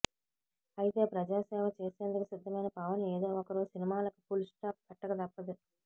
అయితే ప్రజాసేవ చేసేందుకు సిద్ధమైన పవన్ ఏదో ఒకరోజు సినిమాలకు ఫుల్ స్టాప్ పెట్టక తప్పదు